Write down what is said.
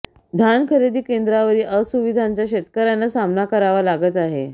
धान खरेदी केंद्रावरील असुविधांचा शेतकऱ्यांना सामना करावा लागत आहे